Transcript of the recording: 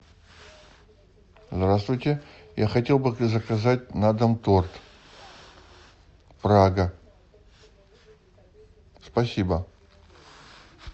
здравствуйте я хотел бы заказать на дом торт прага спасибо